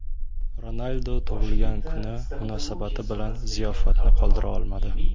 Ronaldu tug‘ilgan kuni munosabati bilan ziyofatni qoldira olmadi.